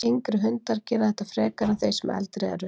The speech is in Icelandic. Yngri hundar gera þetta frekar en þeir sem eldri eru.